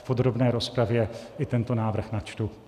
V podrobné rozpravě i tento návrh načtu.